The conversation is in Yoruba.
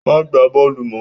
Má gba bóòlù mọ!